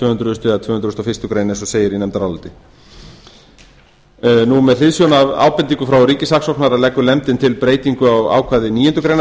hundruð og tvö hundruð og fyrstu greinar eins og segir í nefndaráliti með hliðsjón af ábendingu frá ríkissaksóknara leggur nefndin til breytingu á ákvæði níundu grein